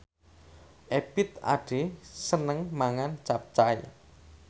Ebith Ade seneng mangan capcay